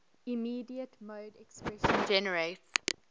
immediate mode expression generates